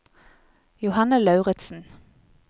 Johanne Lauritsen